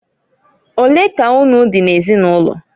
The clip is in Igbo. Olee ka unu dị n'ezinụlọ?